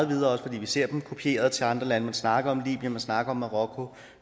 videre også fordi vi ser det kopieret til andre lande man snakker om libyen man snakker om marokko